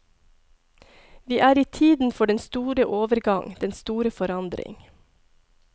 Vi er i tiden for den store overgang, den store forandring.